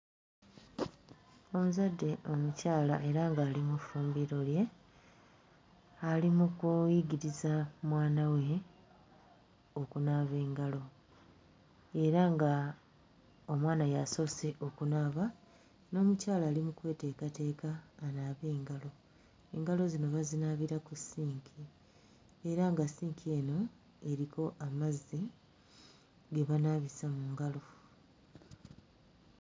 Omuzadde omukyala era ng'ali mu ffumbiro lye ali mu kuyigiriza mwana we okunaaba engalo era nga omwana y'asoose okunaaba n'omukyala ali mu kweteekateeka anaabe engalo engalo zino bazinaabira ku ssinki era nga ssinki eno eriko amazzi ge banaabisa mu ngalo.